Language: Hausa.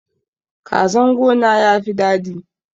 Kazan gona yafi dadi